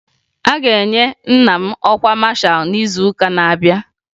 A ga-enye nna m ọkwa masha n'izuụka na-abịa